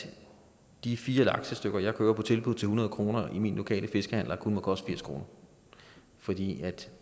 at de fire laksestykker jeg køber på tilbud til hundrede kroner hos min lokale fiskehandler kun må koste firs kr fordi